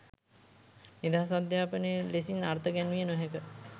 නිදහස් අධ්‍යාපනය ලෙසින් අර්ථ ගැන්විය නොහැක